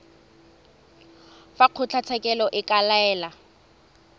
fa kgotlatshekelo e ka laela